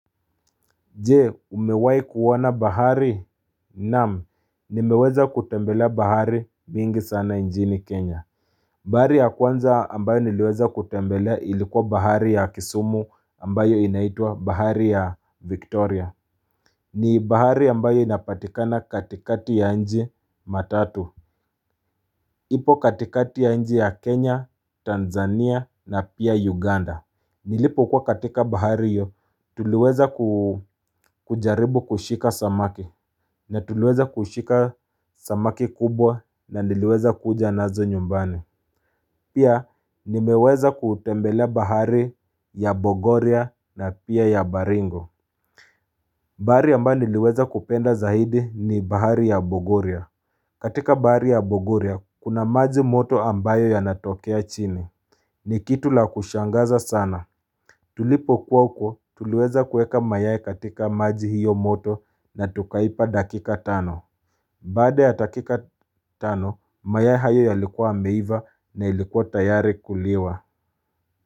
Je, umewai kuoana bahari, namu, nimeweza kutembelea bahari mingi sana njini Kenya. Bahari ya kwanza ambayo niliweza kutembelea ilikuwa bahari ya kisumu ambayo inaitua bahari ya Victoria. Ni bahari ambayo inapatikana katikati ya nji. Matatu ipo katikati ya nji ya Kenya, Tanzania na pia Uganda. Nilipo kwa katika bahari yyo, tuliweza kujaribu kushika samaki. Na tuluweza kushika samaki kubwa na niliweza kuja nazo nyumbani. Pia nimeweza kutembelea bahari ya Bogoria na pia ya Baringo. Bahari amba niliweza kupenda zaidi ni bahari ya Bogoria katika bahari ya Bogoria, kuna maji moto ambayo ya natokea chini. Ni kitu la kushangaza sana. Tulipo kuwa uko, tuluweza kueka mayae katika maji hiyo moto na tukaipa dakika tano Bade ya takika tano, maya hayo yalikuwa meiva na yalikuwa tayari kuliwa.